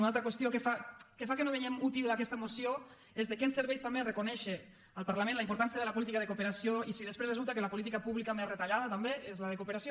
una altra qüestió que fa que no veiem útil aquesta moció és de què ens serveix també reconèixer al parlament la importància de la política de cooperació si després resulta que la política pública més retallada també és la de cooperació